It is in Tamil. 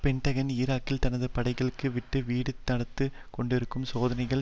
பென்டகன் ஈராக்கில் தனது படைகள் வீட்டுக்கு வீடு நடத்தி கொண்டிருக்கும் சோதனைகள்